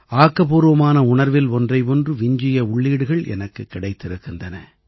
ஆக்கப்பூர்வமான உணர்வில் ஒன்றை ஒன்று விஞ்சிய உள்ளீடுகள் எனக்குக் கிடைத்திருக்கின்றன